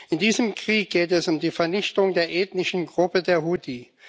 In diesem Krieg geht es um die Vernichtung der ethnischen Gruppe der Huthi.